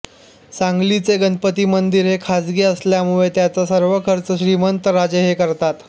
सांगलीचे गणपती मंदिर हे खाजगी असल्यामुळे त्याचा सर्वा खर्च श्रीमंतराजे हे करतात